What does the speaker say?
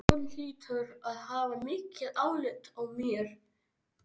Hún hlýtur að hafa mikið álit á mér.